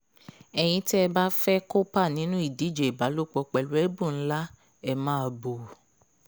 ẹ̀yin tẹ́ ẹ bá fẹ́ẹ́ kópa nínú ìdíje ìbálòpọ̀ pẹ̀lú ẹ̀bùn ńlá ẹ máa bò ó